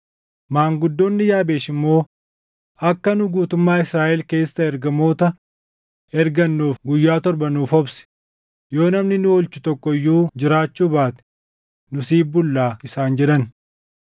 Maanguddoonni Yaabeesh immoo, “Akka nu guutummaa Israaʼel keessa ergamoota ergannuuf guyyaa torba nuuf obsi; yoo namni nu oolchu tokko iyyuu jiraachuu baate nu siif bulla” isaan jedhan.